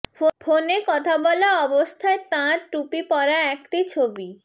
ফোনে কথা বলা অবস্থায় তাঁর টুপি পরা একটি ছবি